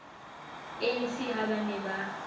anc ha ba ne ba